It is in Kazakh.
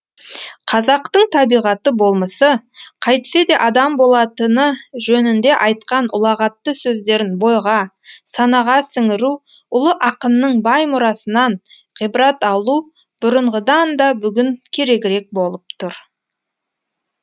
қазақтың табиғаты болмысы қайтсе адам болатыны жөнінде айтқан ұлағатты сөздерін бойға санаға сіңіру ұлы ақынның бай мұрасынан ғибрат алу бұрынғыдан да бүгін керегірек болып тұр